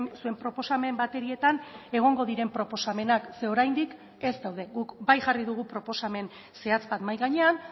zuen proposamen baterietan egongo diren proposamenak zeren oraindik ez daude guk bai jarri dugu proposamen zehatz bat mahai gainean